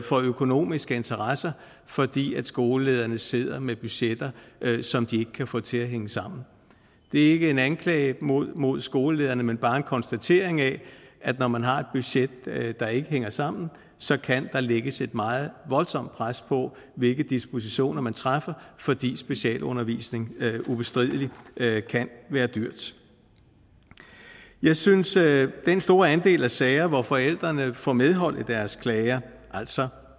for økonomiske interesser fordi skolelederne sidder med budgetter som de ikke kan få til at hænge sammen det er ikke en anklage mod mod skolelederne men bare en konstatering af at når man har et budget der ikke hænger sammen så kan der lægges et meget voldsomt pres på hvilke dispositioner man træffer fordi specialundervisning ubestrideligt kan være dyrt jeg synes at den store andel af sager hvor forældrene får medhold i deres klager altså